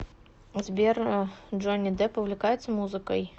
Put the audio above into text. сбер джонни депп увлекается музыкой